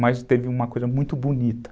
mas teve uma coisa muito bonita.